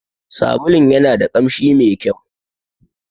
Sabulun yanada kamshi mai ƙyau.